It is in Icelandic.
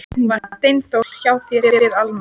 Var Steindór hjá þér, spyr Alma.